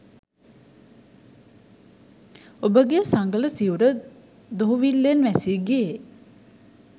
ඔබගේ සඟල සිවුර දුහුවිල්ලෙන් වැසී ගියේ